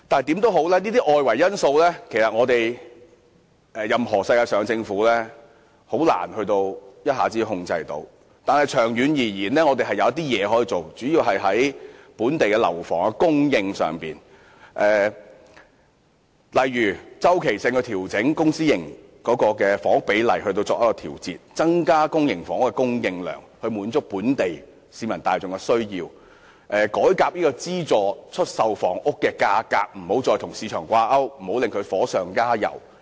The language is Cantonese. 這些外圍因素，世界上任何政府均難以一下子控制，但長遠而言，政府主要可從本地樓房供應上着手，例如定期調整公私營房屋比例，增加公營房屋的供應量，以滿足本地市民大眾的需要，資助出售房屋的價格不再與市場掛鈎，不要令市場"火上加油"。